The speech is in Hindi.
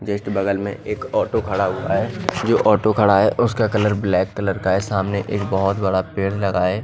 जस्ट बगल में एक ऑटो खड़ा हुआ है जो ऑटो खड़ा है उसका कलर ब्लैक कलर का है सामने एक बहोत बड़ा पेड़ लगा है।